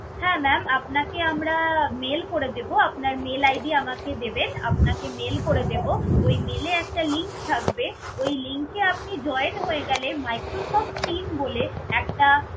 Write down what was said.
হ্যা maam আপনাকে আমরা mail করে দেব আপনার mail ID আমাকে দিবেন আপনাকে mail করে দেব। ওই mail এ একটা link থাকবে। ওই link এ আপনি join হয়ে গেলে Microsoft Team বলে একটা